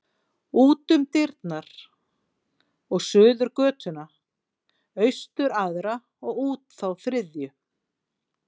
Út um dyrnar og suður götuna, austur aðra og út þá þriðju.